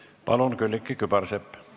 Palun, Külliki Kübarsepp!